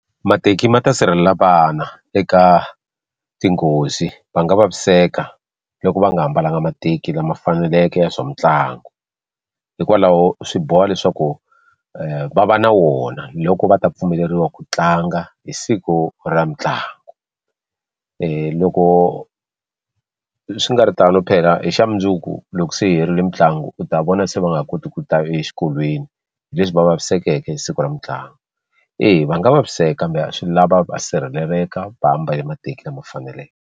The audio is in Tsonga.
Mateki ma ta sirhelela vana eka tinghozi va nga vaviseka loko va nga mbalanga mateki lama faneleke ya swa mitlangu hikwalaho swi boha leswaku va va na wona loko va ta pfumeleriwa ku tlanga hi siku ra mitlangu loko swi nga ri tano phela hi xa mundzuku loko se yi herile mitlangu u ta vona se va nga ha koti ku ta exikolweni hi leswi va vavisekeke hi siku ra mitlangu eya va nga vaviseka kambe swi lava va sirheleleka va mbale mateki lama faneleke.